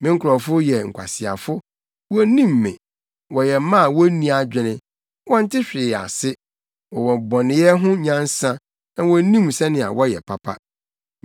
“Me nkurɔfo yɛ nkwaseafo; wonnim me. Wɔyɛ mma a wonni adwene; wɔnte hwee ase. Wɔwɔ bɔneyɛ ho nyansa; na wonnim sɛnea wɔyɛ papa.”